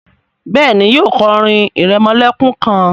béèni, yíò kò orin iremolekun kán.